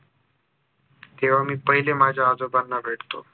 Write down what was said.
तेव्हा मी पहिले माझ्या आजोबांना भेटतो